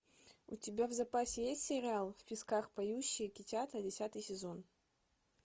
у тебя в запасе есть сериал в песках поющие китята десятый сезон